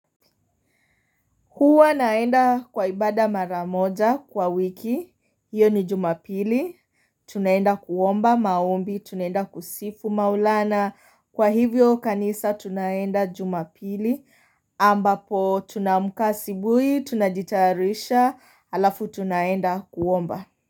Huwa naenda kwa ibada mara moja kwa wiki, hiyo ni jumapili, tunaenda kuomba maombi, tunaenda kusifu maulana, kwa hivyo kanisa tunaenda jumapili, ambapo tunamka asubuhii tunajitarisha, alafu tunaenda kuomba.